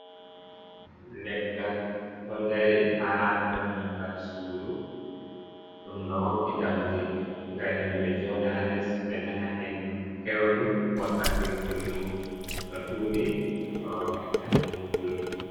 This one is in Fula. Leggal ɗo dari ha dammugal sudu. Ɗum ɗo hokki ɗaudi ngam himɓe joɗa ha les be nana hendu peundu wakkati gullum to ɗuɗi heɓa ɓe acca nanugo gullum.